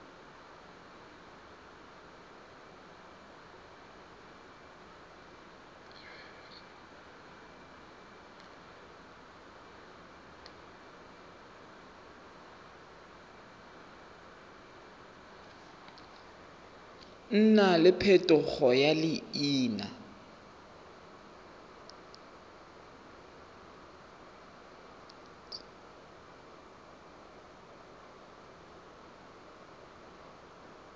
nna le phetogo ya leina